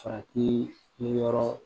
Farati yɔrɔ